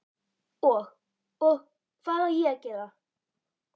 Og, og. hvað á ég að gera?